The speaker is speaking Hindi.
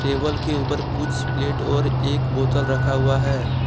टेबल के ऊपर कुछ प्लेट और एक बोतल रखा हुआ है।